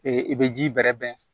i bɛ ji bɛrɛ bɛn